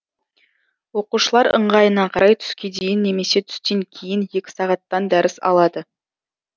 оқушылар ыңғайына қарай түске дейін немесе түстен кейін екі сағаттан дәріс алады